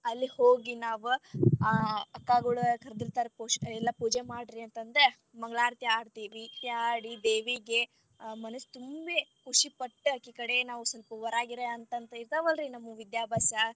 ಅಲ್ಲಿ ಹೋಗಿ ನಾವ್ ಆ ಅಕ್ಕಗೋಳ ಕರದಿರತಾರ ಎಲ್ಲಾ ಪೂಜೆ ಮಾಡ್ರಿ ಅಂತಂದ ಮಂಗಳಾರತಿ ಹಾಡತೆವಿ, ಹಾಡಿ ದೇವಿಗೆ ಮನಸ್ ತುಂಬಿ ಖುಷಿ ಪಟ್ಟ ಅಕಿ ಕಡೆ ನಾವ್ ಸ್ವಲ್ಪ ವರ ಗಿರಾ ಅಂತಂದ ಇರ್ತಾವಲ್ಲರಿ ನಮ್ಮವ ವಿದ್ಯಾಭ್ಯಾಸ.